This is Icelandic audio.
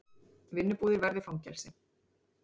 Vinnubúðir verði fangelsi